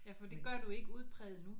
Ja for det gør du ikke udpræget nu